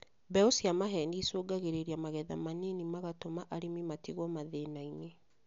Mbeũ cia maheeni icũngagĩrĩria magetha manini magatũma arĩmi matigwo mathĩnainĩ